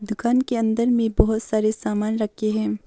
दुकान के अन्दर में बहुत सारे सामान रखे है।